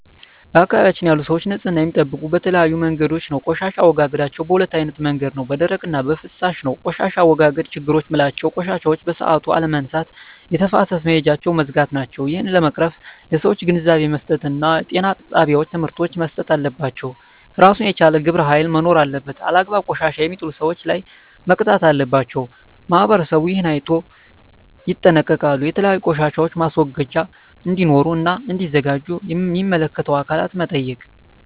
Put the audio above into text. በአካባቢያችን ያሉ ሰዎች ንፅህና የሚጠብቁ በተለያዩ መንገዶች ነው ቆሻሻ አወጋገዳቸዉ በ2አይነት መንገድ ነው በደረቅ እና በፍሳሽ ነው በቆሻሻ አወጋገድ ችግሮች ምላቸው ቆሻሻዎችን በሠአቱ አለመነሳት የተፋሰስ መሄጃውች መዝጋት ናቸው እሄን ለመቅረፍ ለሠዎች ግንዛቤ መስጠት እና ጤና ጣቤዎች ትምህርቶች መሰጠት አለባቸው እራሱን የቻለ ግብረ ሀይል መኖር አለበት አላግባብ ቆሻሻ የሜጥሉ ሠዎች ላይ መቅጣት አለባቸው ማህበረሠቡ እሄን አይነቶ ይጠነቀቃሉ የተለያዩ ቆሻሻ ማስወገጃ እዴኖሩ እና እዲዘጋጁ ሚመለከታቸው አካላት መጠየቅ